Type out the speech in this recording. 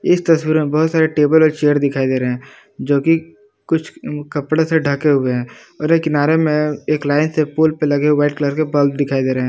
इस तस्वीर में बहुत सारे टेबल और चेयर दिखाई दे रहे हैं जो कि कुछ कपड़े से ढके हुवे है और ये एक किनारे में एक लाइन से पुल पर लगे हुवे वाइट कलर के बल्ब दिखाई दे रहे हैं।